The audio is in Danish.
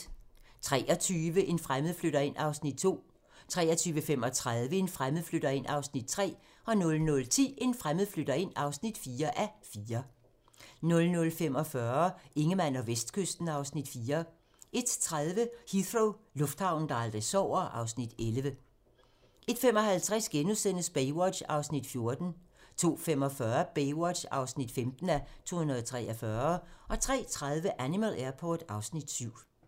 23:00: En fremmed flytter ind (2:4) 23:35: En fremmed flytter ind (3:4) 00:10: En fremmed flytter ind (4:4) 00:45: Ingemann og Vestkysten (Afs. 4) 01:30: Heathrow - lufthavnen, der aldrig sover (Afs. 11) 01:55: Baywatch (14:243)* 02:45: Baywatch (15:243) 03:30: Animal Airport (Afs. 7)